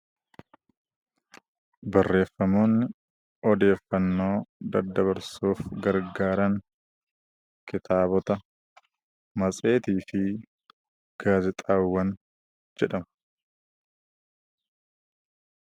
Barreeffamni odeeffannoo daddabarsuuf gargaaran kitaaba, matseetii fi gaazexaawwan jedhamu.